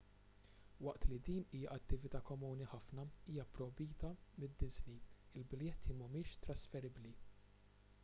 waqt li din hija attività komuni ħafna hija pprojbita minn disney il-biljetti mhumiex trasferibbli